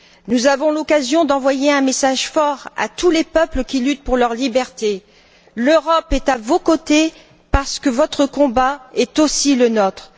Nous avons l'occasion d'envoyer un message fort à tous les peuples qui luttent pour leur liberté l'Europe est à vos côtés parce que votre combat est aussi le nôtre.